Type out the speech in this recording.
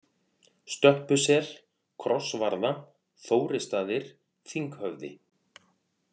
Stöppusel, Krossvarða, Þórisstaðir, Þinghöfði